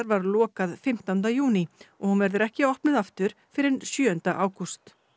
var lokað fimmtánda júní og hún verður ekki opnuð aftur fyrr en sjöunda ágúst